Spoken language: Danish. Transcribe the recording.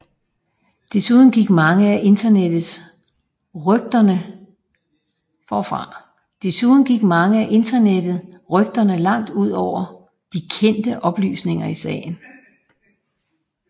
Desuden gik mange af internettet rygterne langt ud over de kendte oplysninger i sagen